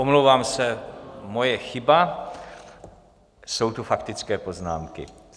Omlouvám se, moje chyba, jsou tu faktické poznámky.